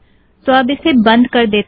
तो अब इसे बंद कर देतें हैं